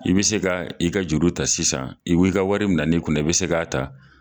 I bɛ se ka i ka juru ta sisan i ka wari minɛ ni kunna i bɛ se k'a ta.